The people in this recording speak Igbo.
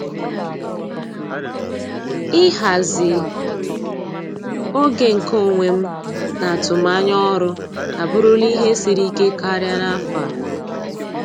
Ịhazi oge nke onwe m na atụmanya ọrụ abụrụla ihe siri ike karịa n'afọ a.